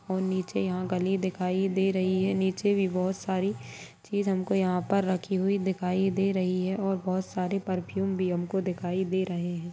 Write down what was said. और नीचे यहाँ गली दिखाई दे रही है नीचे भी बहुत सारी चीज हमको यहाँ पर रखी हुई दिखाई दे रही है और बहुत सारी परफ्यूम भी हमको दिखाई दे रहे हैं।